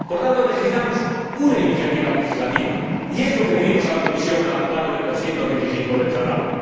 Por tanto, necesitamos una iniciativa legislativa, y es lo que pedimos a la Comisión al amparo del artículo 225 del Tratado.